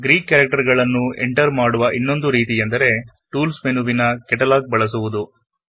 Greek ಕ್ಯಾರೆಕ್ಟರ್ ಗಳನ್ನು enter ಮಾಡುವ ಇನ್ನೊಂದು ರೀತಿಯೆಂದರೆ ಟೂಲ್ಸ್ ಮೆನು ನ ಕೆಟಲಾಗ್ ಬಳಸಬಹುದು